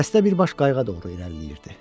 Dəstə birbaş qayığa doğru irəliləyirdi.